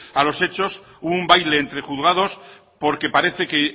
a los hechos hubo un baile entre juzgados porque parece que